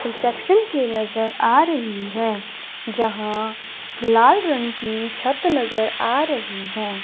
Reception के नजर आ रही है जहां लाल रंग की छत नजर आ रही है।